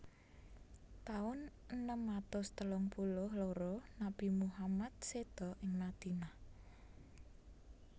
Taun enem atus telung puluh loro Nabi Muhammad séda ing Madinah